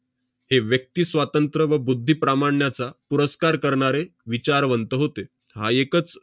हे व्यक्तिस्वातंत्र व बुद्धीप्रामाण्याचा पुरस्कार करणारे विचारवंत होते, हा एकच